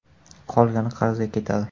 Qolgani qarzga ketadi.